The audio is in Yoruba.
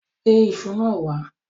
Gbé iṣu náà wá.